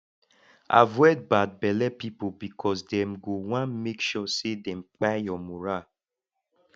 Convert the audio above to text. avoid bad belle pipo bikos dem go wan mek sure say dem kpai yur moral